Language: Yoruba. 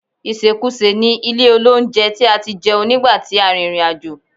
Ìsèkusè ni ilé-olóunjẹ tí a ti jẹun nígbà tí a rìnrìn àjò